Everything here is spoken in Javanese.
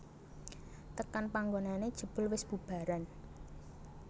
Tekan panggonané jebul wis bubaran